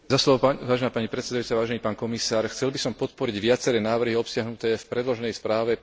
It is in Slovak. Chcel by som podporiť viaceré návrhy obsiahnuté v predloženej správe pána poslanca Hidalga.